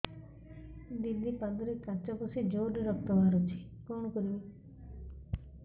ଦିଦି ପାଦରେ କାଚ ପଶି ଜୋରରେ ରକ୍ତ ବାହାରୁଛି କଣ କରିଵି